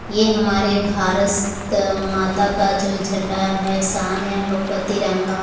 ये हमारे भारत माता का जो झंडा है शान है हम लोगो का तिंरंगा।